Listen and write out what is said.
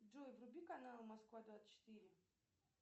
джой вруби канал москва двадцать четыре